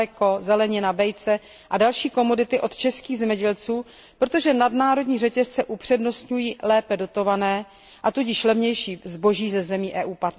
mléko, zelenina, vejce a další komodity od českých zemědělců, protože nadnárodní řetězce upřednostňují lépe dotované, a tudíž levnější zboží ze zemí EU